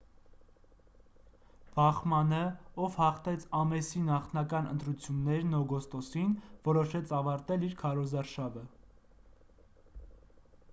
բախմաննը ով հաղթեց ամեսի նախնական ընտրություններն օգոստոսին որոշեց ավարտել իր քարոզարշավը